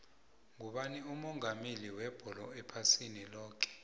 ngubani umongameli webholo ephasini loke